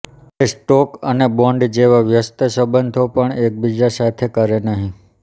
તે સ્ટોક અને બોન્ડ જેવા વ્યસ્ત સંબંધો પણ એકબીજા સાથે કરે નહીં